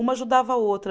Uma ajudava a outra.